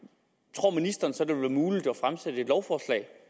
tror ministeren så det vil være muligt at fremsætte et lovforslag